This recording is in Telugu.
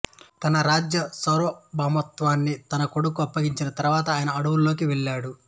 తన రాజ్య సార్వభౌమత్వాన్ని తన కొడుకుకు అప్పగించిన తరువాత ఆయన అడవులలోకి వెళ్ళాడు